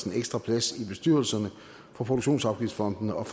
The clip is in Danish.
ekstra plads i bestyrelserne for produktionsafgiftsfondene og